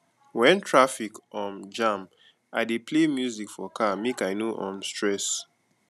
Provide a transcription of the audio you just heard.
wen traffic um jam i dey play music for car make i no um stress